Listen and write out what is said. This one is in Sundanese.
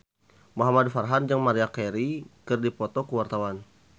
Muhamad Farhan jeung Maria Carey keur dipoto ku wartawan